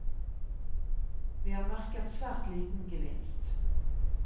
Vi har merket svært liten gevinst.